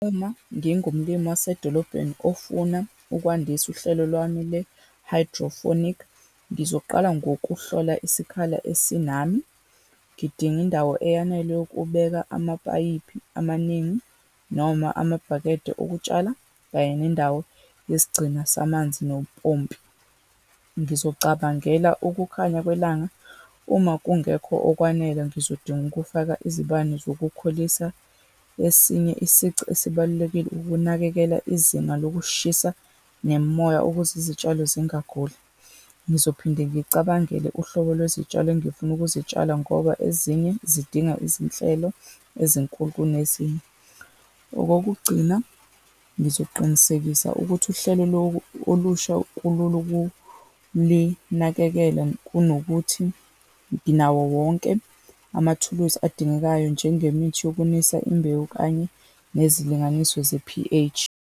Uma ngingumlimi wasedolobheni, ofuna ukwandisa uhlelo lwami le-hydroponic, ngizoqala ngokuhlola isikhala esinami, ngidinga indawo eyanele yokubeka amapayipi amaningi, noma amabhakede okutshala, kanye nendawo yesigcina samanzi nompompi. Ngizocabangela ukukhanya kwelanga, uma kungekho okwanele, ngizodinga ukufaka izibani zokukhulisa. Esinye isici esibalulekile, ukunakekela izinga lokushisa nemimoya ukuze izitshalo zingaguli. Ngizophinde ngicabangele uhlobo lwezitshalo engifuna ukuzitshala, ngoba ezinye zidinga izinhlelo ezinkulu kunezinye. Okokugcina, ngizoqinisekisa ukuthi uhlelo olusha lokulinakekela kunokuthi nginawo wonke amathuluzi adingekayo, njengemithi yokunisa imbewu, kanye nezilinganiso ze-P_H.